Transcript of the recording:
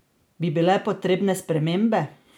Bi bile potrebne spremembe?